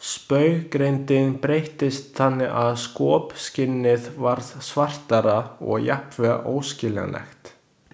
Spauggreindin breyttist þannig að skopskynið varð svartara og jafnvel óskiljanlegt.